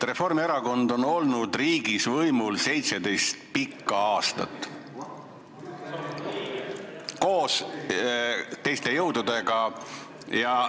Reformierakond on koos teiste jõududega olnud riigis võimul 17 pikka aastat.